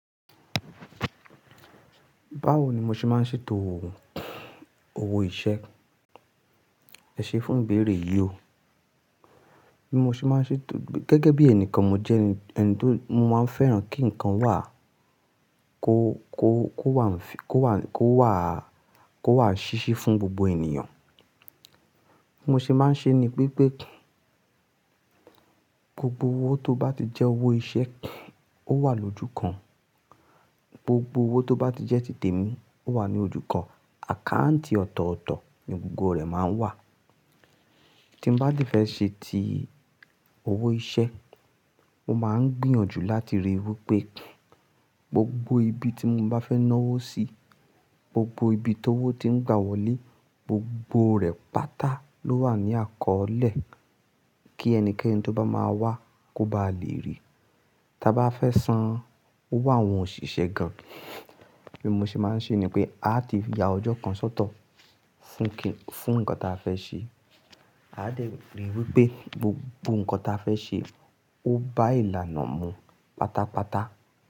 Báwo ni mo ṣe máa ń ṣètò owó iṣẹ́? Ẹ ṣe fún ìbéèrè yí o. Bí mo ṣe máa ń ṣètò, gẹ́gẹ́ bí ẹni kan mo jẹ́ ẹni tó, mo máa ń fẹ́ràn kí ǹkan wà, kó wà, kó wà, kó wà ṣíṣí fún gbogbo ènìyàn. Bí mo ṣe máa ń ṣe ni pé pé gbogbo owó tó bá ti jẹ́ owó iṣẹ́ ó wà lójú kan. Gbogbo owó tó bá ti jẹ́ tìtẹ̀ mi ó wà ní ojú kan. Àkáǹtì ọ̀tọ̀ọ̀tọ̀ ni gbogbo rẹ̀ máa ń wà. Tí mo bá ti fẹ́ ṣe ti owó iṣẹ́, mo máa ń gbìyànjú láti ríi wí pé gbogbo ibi tí mo bá fẹ́ na owó sí, gbogbo ibi tó owó tí ń gba wọlé, gbogbo rẹ̀ pátá ló wà ní àkọọlẹ kí ẹnikẹ́ni tó bá máa wá kó bá lè rí i. Ta bá fẹ́ san owó àwọn òṣìṣẹ́ gan, bí mo ṣe máa ń ṣe ni pé a ti ya ọjọ́ kan sọ́tọ̀ fún ǹkan tí a fẹ́ ṣe. A dè ríi wí pé gbogbo ǹkan tí a fẹ́ ṣe ó bá ìlànà mu pátápátá.